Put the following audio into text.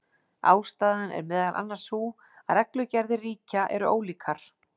Ástæðan er meðal annars sú að reglugerðir ríkja eru ólíkar.